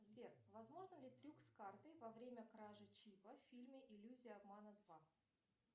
сбер возможен ли трюк с картой во время кражи чипа в фильме иллюзия обмана два